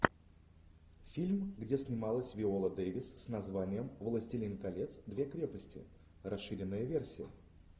фильм где снималась виола дэвис с названием властелин колец две крепости расширенная версия